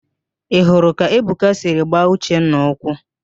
Ị hụrụ ka Ebuka siri gbaa Uchenna ụkwụ?